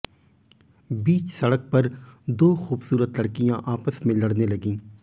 बीच सड़क पर दो खुबसुरत लड़कियां आपस में लड़ने लगी